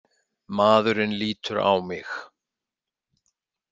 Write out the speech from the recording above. Maðurinn lítur á mig.